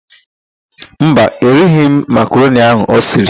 Mba, erighi m makaroni ahụ o siri.